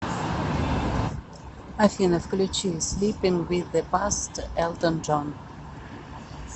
афина включи слипинг виз зе паст элтон джон